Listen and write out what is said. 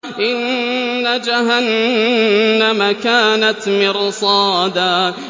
إِنَّ جَهَنَّمَ كَانَتْ مِرْصَادًا